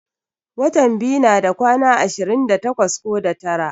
Watan biyu nada kwana ashirin da takwas ko da tara.